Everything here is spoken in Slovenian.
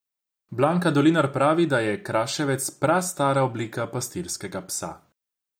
Blanka Dolinar pravi, da je kraševec prastara oblika pastirskega psa.